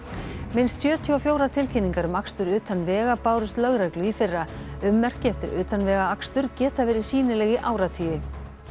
minnst sjötíu og fjórar tilkynningar um akstur utan vega bárust lögreglu í fyrra ummerki eftir utanvegaakstur geta verið sýnileg í áratugi